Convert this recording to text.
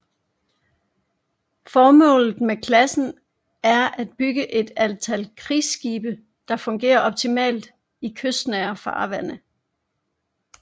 Formålet med klassen er at bygget et antal krigsskibe der fungerer optimalt i kystnære farvande